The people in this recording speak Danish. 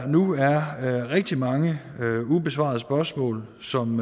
nu er rigtig mange ubesvarede spørgsmål som